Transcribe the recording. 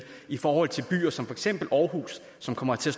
i forhold til byer som for eksempel aarhus som kommer til